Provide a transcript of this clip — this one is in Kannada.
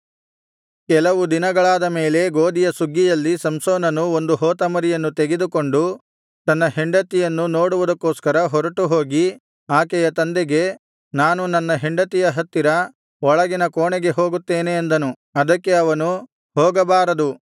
ಕೆಲವು ದಿನಗಳಾದ ಮೇಲೆ ಗೋದಿಯ ಸುಗ್ಗಿಯಲ್ಲಿ ಸಂಸೋನನು ಒಂದು ಹೋತಮರಿಯನ್ನು ತೆಗೆದುಕೊಂಡು ತನ್ನ ಹೆಂಡತಿಯನ್ನು ನೋಡುವುದಕ್ಕೋಸ್ಕರ ಹೊರಟುಹೋಗಿ ಆಕೆಯ ತಂದೆಗೆ ನಾನು ನನ್ನ ಹೆಂಡತಿಯ ಹತ್ತಿರ ಒಳಗಿನ ಕೋಣೆಗೆ ಹೋಗುತ್ತೇನೆ ಅಂದನು ಅದಕ್ಕೆ ಅವನು ಹೋಗಬಾರದು